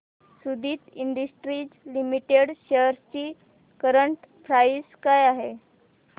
Suditi industries limited shares ची current price काय आहे